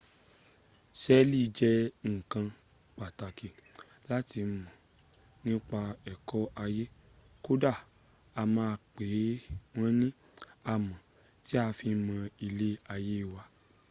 sẹ́ẹ̀lì jẹ́ nǹkan pàtàkì láti mọ̀ nípa ẹ̀kọ́ ayé kódà wọn a máa pè wọn ni amọ̀ tí a fi ń mọ ilẹ ayé wa